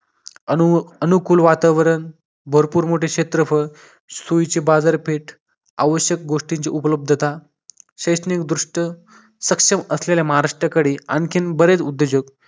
अनुकू अनुकूल वातावरण भरपूर मोठे क्षेत्रफळ सोयीचे बाजारपेठ आवश्यक गोष्टींची उपलब्धता शैक्षणिक दृष्ट सक्षम असलेल्या महाराष्ट्राकडे आणखीन बरेच उद्योजक